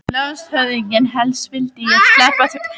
LANDSHÖFÐINGI: Helst vildi ég sleppa því að leggja nokkuð til.